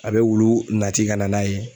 A be wulu nati ka na n'a ye.